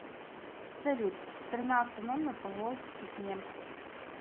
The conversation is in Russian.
салют страна автономия поволжских немцев